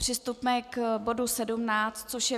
Přistupme k bodu 17, což je